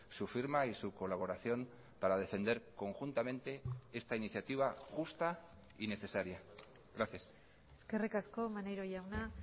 su firma y su colaboración para defender conjuntamente esta iniciativa justa y necesaria gracias eskerrik asko maneiro jauna